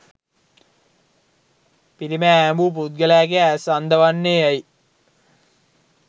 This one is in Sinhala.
පිලිමය ඈඹූ පුද්ගලයාගේ ඈස් අන්ධ වන්නේ ඈයි?